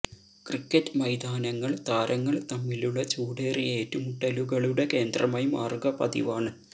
cricket മൈതാനങ്ങള് താരങ്ങള് തമ്മിലുള്ള ചൂടേറിയ ഏറ്റുമുട്ടലുകളുടെ കേന്ദ്രമായി മാറുക പതിവാണ്